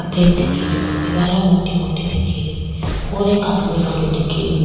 सफ़ेद दिखे री दिवारा मोटी मोटी दिखे री और एक आदमी खड़यो दिखे रियो --